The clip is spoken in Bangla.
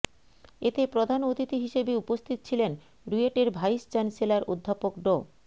এতে প্রধান অতিথি হিসেবে উপস্থিত ছিলেন রুয়েটের ভাইস চ্যান্সেলর অধ্যাপক ড